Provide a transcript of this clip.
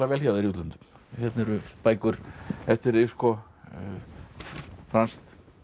hjá þér í útlöndum hérna eru bækur eftir þig franskt